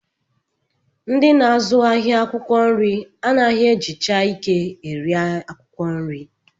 Ndị na-azụ ahịa akwụkwọ nri anaghị ejicha ike eri akwụkwọ nri